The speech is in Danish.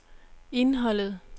indholdet